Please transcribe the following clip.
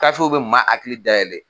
Gafew bɛ maa hakili dayɛlɛ